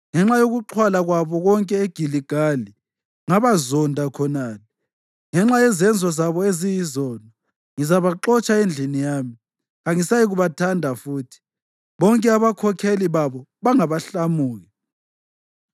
“Ngenxa yokuxhwala kwabo konke eGiligali, ngabazonda khonale. Ngenxa yezenzo zabo eziyizono, ngizabaxotsha endlini yami. Kangisayikubathanda futhi; bonke abakhokheli babo bangabahlamuki.